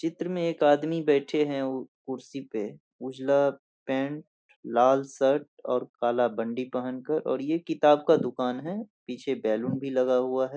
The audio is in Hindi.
चित्र में एक आदमी बैठे है कुर्सी पे उजला पैंट लाल शर्ट और काला बंडी पहन कर और ये किताब का दुकान है पीछे बैलून भी लगा हुआ है।